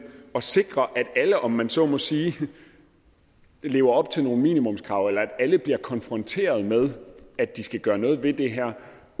at sikre at alle om man så må sige lever op til nogle minimumskrav eller at alle bliver konfronteret med at de skal gøre noget ved det her